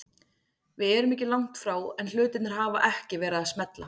Við erum ekki langt frá en hlutirnir hafa ekki verið að smella.